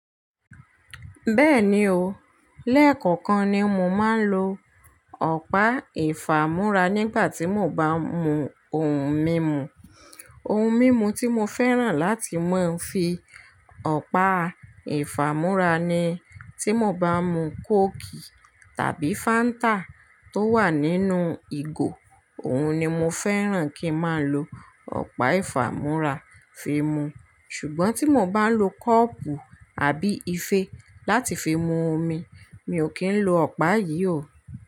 Bẹ́ẹ̀ni o, lẹ́ẹ̀kọ̀kan ni mo máa ń lo ọ̀pá ìfàmú́ra nígbà tí mo bá mú ohun mímu. Ohun mímu tí mo fẹ́ràn láti máa ń fi ọ̀pá ìfàmú́ra ni, tí mo bá mú kóòkì tàbí fáńtà tó wà nínú ìgò, òun ni mo fẹ́ràn kí ń má lo ọ̀pá ìfàmú́ra fi mu. Ṣùgbọ́n tí mo bá lo kọ́ọ̀pù àbí ife láti fi mú omi, mi ò kí ń lo ọ̀pá yìí o.